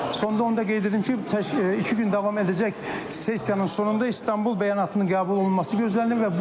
və sonda onu da qeyd edim ki, iki gün davam edəcək sessiyanın sonunda İstanbul bəyanatının qəbul olunması gözlənilir.